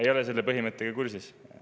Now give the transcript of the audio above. Ei ole selle põhimõttega kursis.